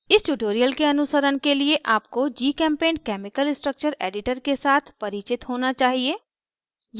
इस ट्यूटोरियल के अनुसरण के लिए आपको gchempaint केमिकल स्ट्रक्चर एडिटर के साथ परिचित होना चाहिए